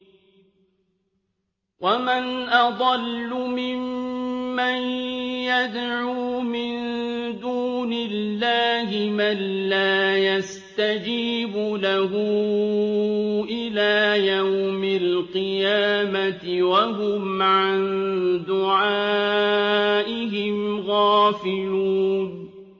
وَمَنْ أَضَلُّ مِمَّن يَدْعُو مِن دُونِ اللَّهِ مَن لَّا يَسْتَجِيبُ لَهُ إِلَىٰ يَوْمِ الْقِيَامَةِ وَهُمْ عَن دُعَائِهِمْ غَافِلُونَ